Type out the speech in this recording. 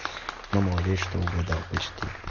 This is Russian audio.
ну молодец что угадал почти